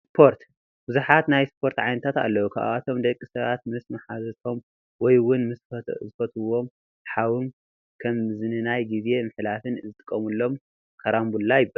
ስፖርት፡- ብዙሓት ናይ ስፖርት ዓይነታት ኣለው፡፡ ካብኣቶም ደቂ ሰባት ምስ ማሓዝቶም ወይ እውን ምስ ዝፈትውዎ ሓዎም ከም መዝናነይን ጊዜ መሕለፍን ዝጥቀምሎም ካራምቡላ ይባሃል፡፡፡፡